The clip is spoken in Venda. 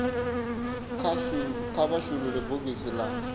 kha vha shulule bogisi la